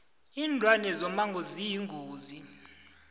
linlwane zomango ziyingozi